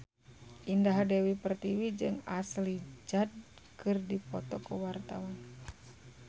Indah Dewi Pertiwi jeung Ashley Judd keur dipoto ku wartawan